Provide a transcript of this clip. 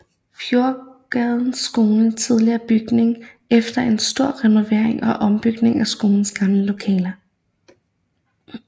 Fjordsgades Skole tidligere bygning efter en stor renovering og ombygning af skolens gamle lokaler